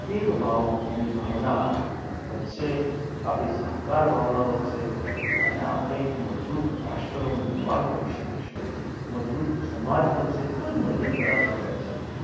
એક ભાવની ભાવના વચ્ચે, આપણી સહકાર ભાવના વચ્ચે, અને આપણે એક મજબૂત રાષ્ટ્રનું નિર્માણ કરી શકીશું મજબૂત સમાજ બનશે તો જ મજબૂત રાષ્ટ્ર બનશે.